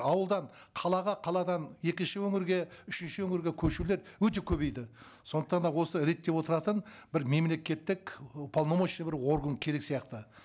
ауылдан қалаға қаладан екінші өңірге үшінші өңірге көшулер өте көбейді сондықтан да осы реттеп отыратын бір мемлекеттік уполномоченный бір орган керек сияқты